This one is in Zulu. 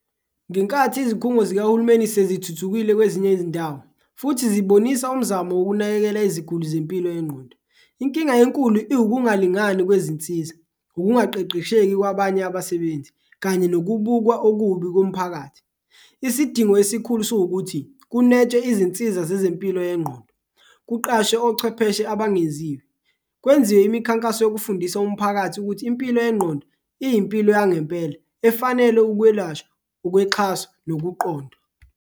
Ngenkathi izikhungo zikahulumeni sezithuthukile kwezinye izindawo futhi zibonisa umzamo wokunakekela iziguli zempilo yengqondo, inkinga enkulu iwukungalingani kwezinsiza, ukungaqeqesheki kwabanye abasebenzi kanye nokubukwa okubi komphakathi. Isidingo esikhulu siwukuthi kunetshwe izinsiza zezempilo yengqondo, kuqashwe ochwepheshe abangeziwe, kwenziwe imikhankaso yokufundisa umphakathi ukuthi impilo yengqondo iyimpilo yangempela efanele ukwelashwa, ukwexhaswa, nokuqonda.